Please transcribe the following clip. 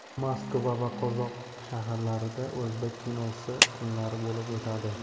Moskva va Qozon shaharlarida o‘zbek kinosi kunlari bo‘lib o‘tadi.